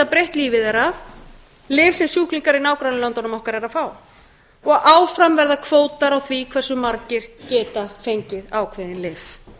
breytt lífi þess lyf sem sjúklingar í nágrannalöndum okkar fá og áfram verða kvótar á því hversu margir geta fengið ákveðin lyf